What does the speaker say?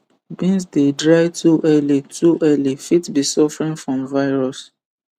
beans dey dry too early too early fit be suffering from virus